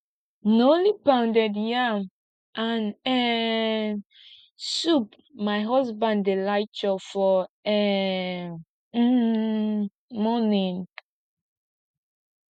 na only pounded yam and um soup my husband dey like chop for um um morning